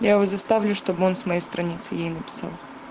я его заставлю чтобы он с моей страницы ей написал